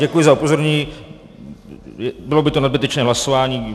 Děkuji za upozornění, bylo by to nadbytečné hlasování.